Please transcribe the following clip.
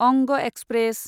अंग एक्सप्रेस